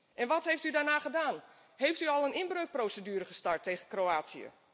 En wat heeft u daarna gedaan? Bent u al een inbreukprocedure gestart tegen Kroatië?